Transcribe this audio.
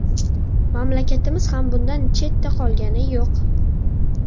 Mamlakatimiz ham bundan chetda qolgani yo‘q.